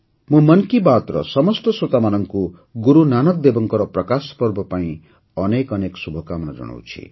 ମୁଁ ମନ୍ କି ବାତ୍ର ସମସ୍ତ ଶ୍ରୋତାମାନଙ୍କୁ ଗୁରୁନାନକ ଦେବଙ୍କର ପ୍ରକାଶ ପର୍ବ ପାଇଁ ଅନେକ ଅନେକ ଶୁଭକାମନା ଜଣାଉଛି